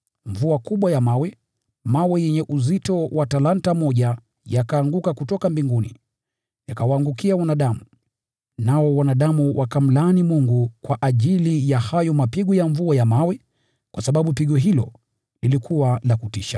Mvua kubwa ya mawe yenye uzito wa talanta moja ikashuka kutoka mbinguni, ikawaangukia wanadamu. Nao wanadamu wakamlaani Mungu kwa ajili ya hayo mapigo ya mvua ya mawe, kwa sababu pigo hilo lilikuwa la kutisha.